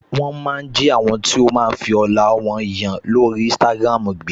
Wọ́n máa ń jí àwọn tó máa ń fi ọlá yan lórí Instagram gbé